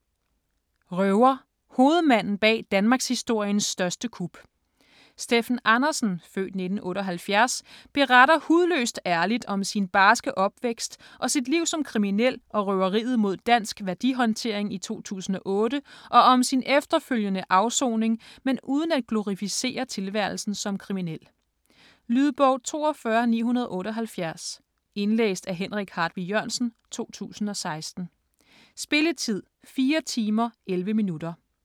Røver: hovedmanden bag danmarkshistoriens største kup Steffen Andersen (f. 1978) beretter hudløst ærligt om sin barske opvækst og sit liv som kriminel og røveriet mod Dansk Værdihåndtering i 2008, og om sin efterfølgende afsoning, men uden at glorificere tilværelsen som kriminel. Lydbog 42978 Indlæst af Henrik Hartvig Jørgensen, 2016. Spilletid: 4 timer, 11 minutter.